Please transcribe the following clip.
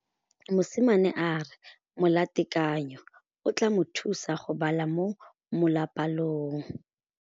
Mosimane a re molatekanyô o tla mo thusa go bala mo molapalong.